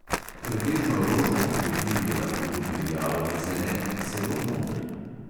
Pretežno rožnati beril je lahko tudi rjav ali zelen, celo moder.